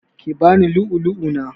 Ki bani lu'ulu'u na!